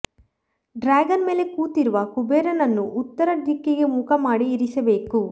dragon ಮೇಲೆ ಕೂತಿರುವ ಕುಬೇರನನ್ನು ಉತ್ತರ ದಿಕ್ಕಿಗೆ ಮುಖ ಮಾಡಿ ಇರಿಸಬೇಕು